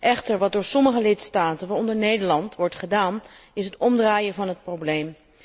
Wat echter door sommige lidstaten, waaronder Nederland, wordt gedaan, is het omdraaien van het probleem.